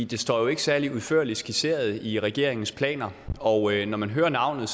det står jo ikke særlig udførligt skitseret i regeringens planer og når man hører navnet